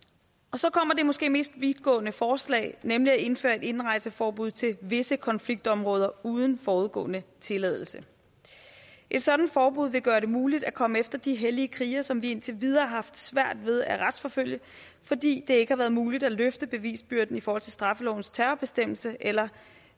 så kommer det måske mest vidtgående forslag nemlig at indføre et indrejseforbud til visse konfliktområder uden forudgående tilladelse et sådant forbud vil gøre det muligt at komme efter de hellige krigere som vi indtil videre har haft svært ved at retsforfølge fordi det ikke har været muligt at løfte bevisbyrden i forhold til straffelovens terrorbestemmelse eller